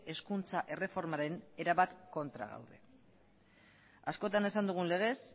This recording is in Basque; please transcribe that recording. hezkuntza erreformaren erabat kontra gaude askotan esan dugun legez